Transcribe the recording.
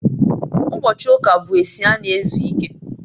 ụbochị ụka bụ esi a na-ezu ike